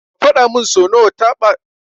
Ka fadamin so nawa ka taɓa zuwa kotu.